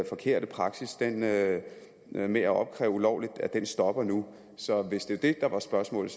forkerte praksis med med at opkræve ulovligt stopper nu så hvis det var det der var spørgsmålet